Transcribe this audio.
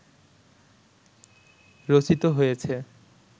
রচিত হয়েছে